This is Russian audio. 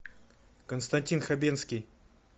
константин хабенский